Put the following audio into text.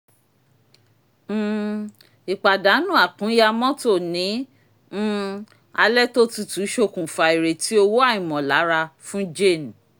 um ìpàdánù àkúnya mọ́tò ní um alẹ́ tó tutù ṣokùnfà ìrètí owó àìmọ̀lára fún jane